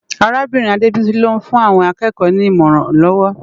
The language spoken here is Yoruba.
Árábirin Adebisi ló n fún áwòn ákèékò ni imòrán lòw